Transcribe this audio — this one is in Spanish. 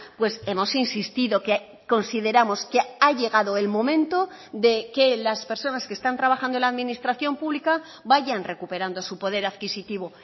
pues hemos insistido que consideramos que ha llegado el momento de que las personas que están trabajando en la administración pública vayan recuperando su poder adquisitivo